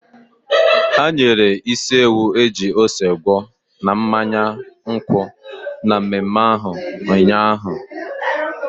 Ha nyere isi ewu eji ose gwọọ na mmanya nkwụ na mmemme ahụ ụnyaahụ.